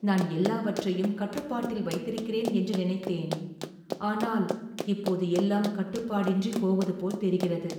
"நான் எல்லாவற்றையும் கட்டுப்பாட்டில் வைத்திருக்கிறேன் என்று நினைத்தேன், ஆனால் இப்போது எல்லாம் கட்டுப்பாடின்றிப் போவது போல் தெரிகிறது."